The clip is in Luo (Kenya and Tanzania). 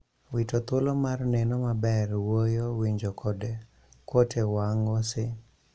Wito thuolo mar neno maber, wuoyo, winjo kod kuot e wang' ose...